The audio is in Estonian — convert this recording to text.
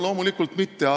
Loomulikult ei ole rahuldav.